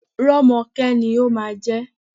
Rọ́mọkẹ́ ni ó máa jẹ́.